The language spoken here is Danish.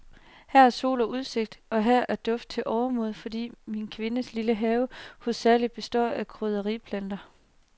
Her er sol og udsigt, og her er duft til overmål, fordi min kvindes lille have hovedsagelig består af krydderplanter.